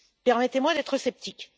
Permettez moi d'être sceptique.